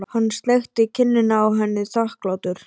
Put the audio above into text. Hann sleikti kinnina á henni þakklátur.